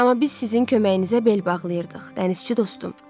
Amma biz sizin köməyinizə bel bağlayırdıq, dənizçi dostum.